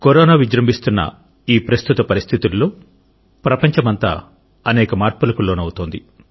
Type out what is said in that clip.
corona విజృంభిస్తున్న ఈ ప్రస్తుత పరిస్థితులలో ప్రపంచమంతా అనేక మార్పులకు లోనవుతోంది